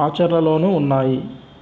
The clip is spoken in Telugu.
మాచర్లలోనూ ఉన్నాయి